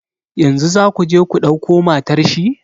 Yanzu za ku je ku dauko matar shi?